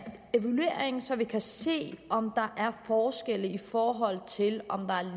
evaluering så vi kan se om der er forskelle i forhold til